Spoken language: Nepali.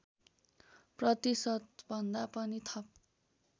प्रतिशतभन्दा पनि थप